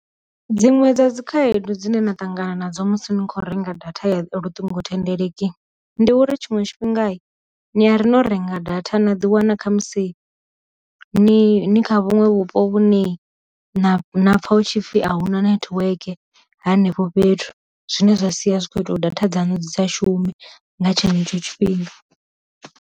Dziṅwe dza dzi khaedu dzine na ṱangana nadzo musi ni kho renga data ya luṱingo thendeleki, ndi uri tshiṅwe tshifhinga ni ya ri no renga data nda ḓi wana kha musi ni ni kha vhunwe vhupo vhune na pfa hu tshipfi a huna network henefho fhethu, zwine zwa sia zwi kho ita datha dzanu dzi sa shume nga tshenetsho tshifhinga.